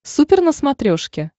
супер на смотрешке